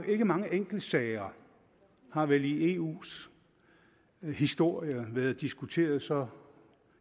ikke mange enkeltsager har vel i eus historie været diskuteret så